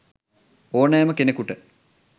ඕනෑම කෙනකුට